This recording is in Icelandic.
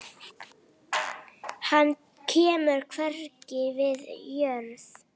Hann kemur hvergi við jörð.